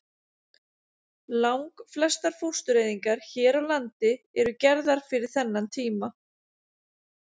Lang flestar fóstureyðingar hér á landi eru gerðar fyrir þennan tíma.